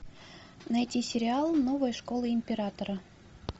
найти сериал новая школа императора